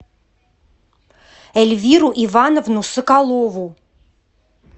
эльвиру ивановну соколову